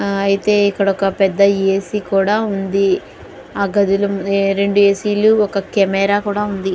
ఆ అయితే ఇక్కడ ఒక పెద్ద ఏ_సి కూడా ఉంది. ఆ గదిలో రెండు ఏ_సీ లు ఒక కెమెరా కూడా ఉంది.